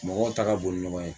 Mɔgɔw ta ka bon ni ɲɔgɔn ye